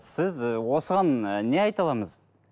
сіз і осыған не айта